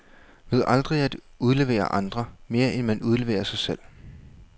Ved aldrig at udlevere andre, mere end man udleverer sig selv.